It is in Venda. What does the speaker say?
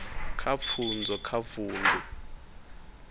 kha pfunzo kha vundu